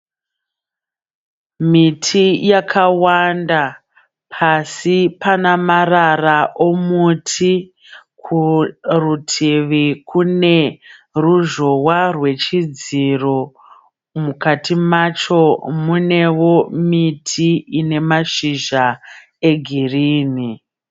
Miti yakawanda pasi pane marara omuti. Kurutivi kune ruzhowa rwechidziro. Mukati macho munevo miti ine mashizha egirini.